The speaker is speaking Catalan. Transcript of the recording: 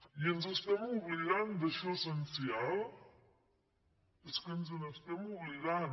i ens estem oblidant d’això essencial és que ens n’estem oblidant